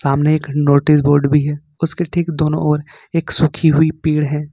सामने notice board भी है उसके ठीक दोनों और एक सूखी हुई पेड़ है।